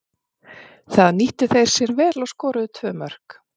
Það nýttu þeir sér vel og skoruðu tvö mörk.